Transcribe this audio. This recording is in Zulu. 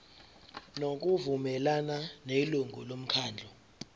ngokuvumelana nelungu lomkhandlu